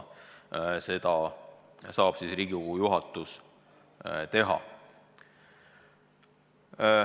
Seda saab Riigikogu juhatus teha.